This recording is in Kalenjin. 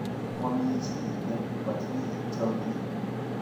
mami jii nematinye chamiet